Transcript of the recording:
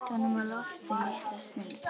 Hélt honum á lofti litla stund.